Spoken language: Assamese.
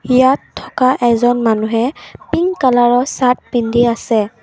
ইয়াত থকা এজন মানুহে পিংক কলাৰৰ চাৰ্ত পিন্ধি আছে।